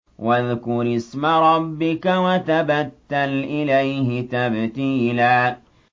وَاذْكُرِ اسْمَ رَبِّكَ وَتَبَتَّلْ إِلَيْهِ تَبْتِيلًا